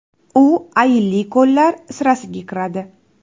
U ayilli ko‘llar sirasiga kiradi.